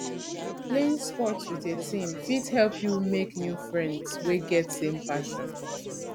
playing sports with a team fit help you make new friends wey get same passion